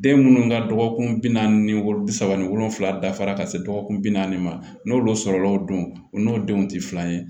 Den minnu ka dɔgɔkun bi naani ni wolo bi saba ni wolonwula dafara ka se dɔgɔkun bi naani ma n'olu sɔrɔla o don o n'o denw tɛ filan ye